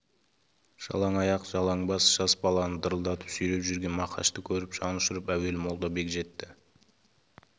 жалаң аяқ жалаң бас жас баланы дырылдатып сүйреп жүрген мақашты көріп жанұшырып әуелі молдабек жетті